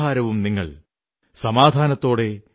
ഉസീ തരഹ് സേനാനീ മേരാ ഭീ ഹൈ ശത് ശത് നമൻ തുമ്ഹേം